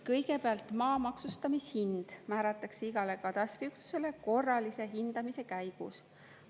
Kõigepealt, maa maksustamishind määratakse igale katastriüksusele korralise hindamise käigus.